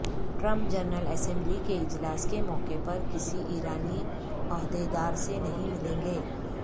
Trump general assembly کے اجلاس کے موقع پر کسی ایرانی عہدے دارسے نہیں ملیں گے